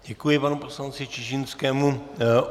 Děkuji panu poslanci Čižinskému.